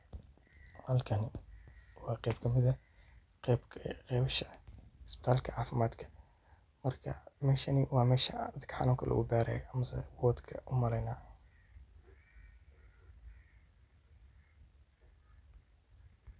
Halkani waa geb kamiid ah qebasha isbitalka cafimaadka, marka meshani waa mesha dadka xanusan lagu barayo waxan umaleyneya wodka dadka lagu baro.